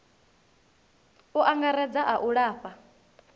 u angaredza a u lafha